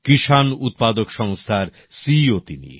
কিষান উৎপাদক সংস্থার সিইও ও তিনি